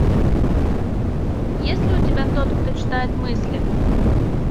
есть ли у тебя тот кто читает мысли